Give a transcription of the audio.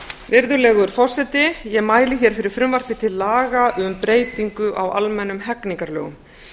virðulegur forseti ég mæli hér fyrir frumvarpi til laga um breytingu á almennum hegningarlögum